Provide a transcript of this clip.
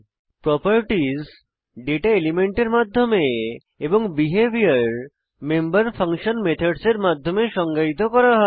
properties data এলিমেন্টের মাধ্যমে এবং বিহেভিওর মেম্বার ফাংশন মেথডস এর মাধ্যমে সংজ্ঞায়িত করা হয়